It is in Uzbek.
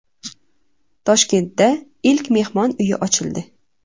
Toshkentda ilk mehmon uyi ochildi.